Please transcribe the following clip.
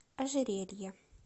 ожерелье